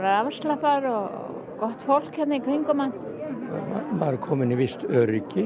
afslappaður og gott fólk hérna í kringum mann maður er komin í visst öryggi